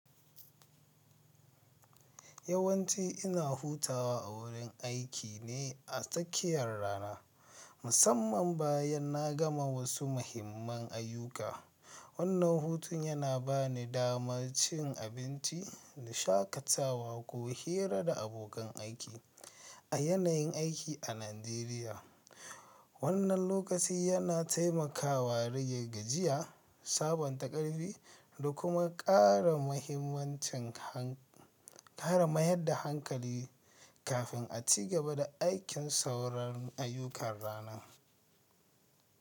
Yawanci ina hutawa a wurin aiki ne a tsakiyar rana, musamman bayan na gama wasu muhimman ayyuka. Wannan hutun yana ba ni damar cin abinci da shakatawa ko hira da abokan aiki. A yanayin aiki a Najeriya, wannan lokaci yana taimakawa rage gajiya, sabunta ƙarfi da kuma ƙara mayar da hanƙali kafin a ci gaba da aikin sauran ayyukan ranan.